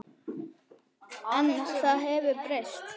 En það hefur breyst.